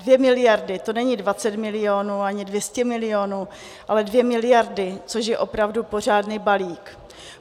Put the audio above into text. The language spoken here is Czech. Dvě miliardy, to není 20 milionů ani 200 milionů, ale 2 miliardy, což je opravdu pořádný balík.